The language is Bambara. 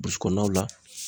Burisikɔnɔnaw la